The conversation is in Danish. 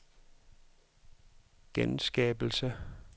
genskabelse